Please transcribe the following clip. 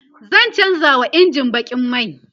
zan chanza wa injin bakin mai